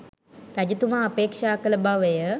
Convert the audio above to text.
රජතුමා අපේක්‍ෂා කළ බවය.